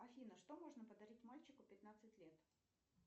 афина что можно подарить мальчику пятнадцать лет